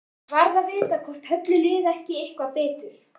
Ég varð að vita hvort Höllu liði ekki eitthvað betur.